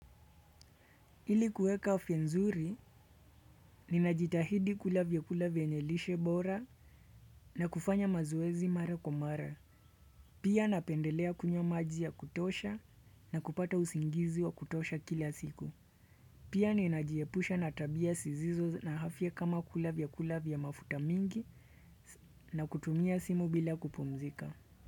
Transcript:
Ili kueka afya nzuri, ninajitahidi kula vyakula vyenye lishe bora na kufanya mazoezi mara kwa mara. Pia napendelea kunywa maji ya kutosha na kupata usingizi wa kutosha kila siku. Pia ninajiepusha na tabia sizizo na afya kama kula vyakula vya mafuta mingi na kutumia simu bila kupumzika.